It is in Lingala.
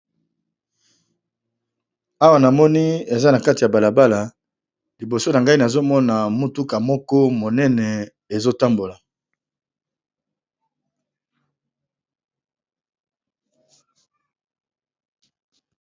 Awa na moni eza na kati ya bala bala, liboso na ngai nazomona motuka moko monene ezo tambola.